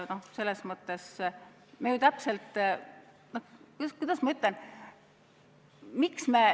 Kuidas ma ütlen?